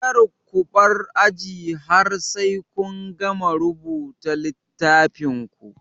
Kar kubar aji har sai kun gama rubuta a littafin ku